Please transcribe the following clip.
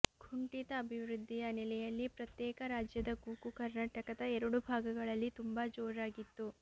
ಕುಂಠಿತ ಅಭಿವೃದ್ಧಿಯ ನೆಲೆಯಲ್ಲಿ ಪ್ರತ್ಯೇಕ ರಾಜ್ಯದ ಕೂಗು ಕರ್ನಾಟಕದ ಎರಡು ಭಾಗಗಳಲ್ಲಿ ತುಂಬಾ ಜೋರಾಗಿತ್ತು